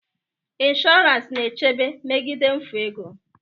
Insurance na-echebe megide mfu ego.